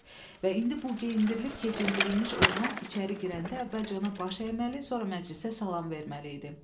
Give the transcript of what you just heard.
Və indi bu geyindirilib keçindirilmiş oğlan içəri girəndə əvvəlcə ona baş əyməli, sonra məclisə salam verməli idi.